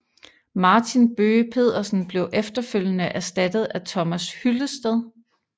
Martin Bøge Pedersen blev efterfølgende erstattet af Thomas Hyllested